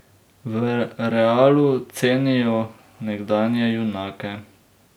V Realu cenijo nekdanje junake.